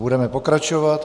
Budeme pokračovat.